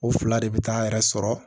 O fila de bɛ taa'a yɛrɛ sɔrɔ